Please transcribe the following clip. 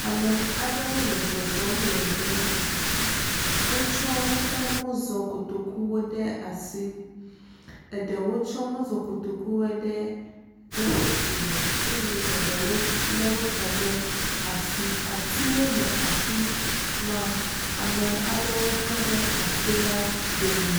Ame aɖewo le zɔzɔm le gbe me. Wotsɔ woƒe mɔzɔkotokuwo ɖe asi. Eɖewo tsɔ mɔzɔkotokuwoe ɖe woƒe dzi me eye eɖewo le wotsɔ ɖe asi. Atiwo le afi ma. Ame aɖewo tɔ ɖe ati la ɖo me.